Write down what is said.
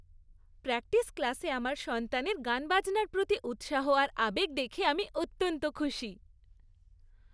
Practice ক্লাসে আমার সন্তানের গানবাজনার প্রতি উৎসাহ আর আবেগ দেখে আমি অত্যন্ত খুশি।